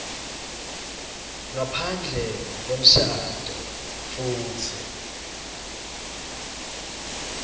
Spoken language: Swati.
ngaphandle kwemshado futsi